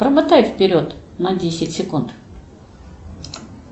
промотай вперед на десять секунд